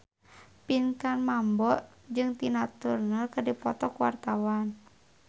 Pinkan Mambo jeung Tina Turner keur dipoto ku wartawan